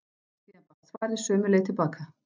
Síðan barst svarið sömu leið til baka.